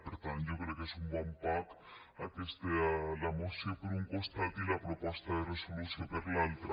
per tant jo crec que és un bon pack la moció per un costat i la proposta de resolució per l’altre